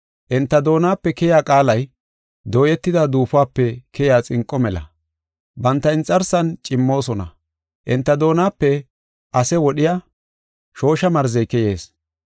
Enta doonape keyiya qaalay, dooyetida duufope keyiya xinqo mela; banta inxarsan cimmoosona. Enta doonape ase wodhiya, shoosha marzey keyees.